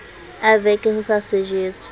a veke ho sa sejetswe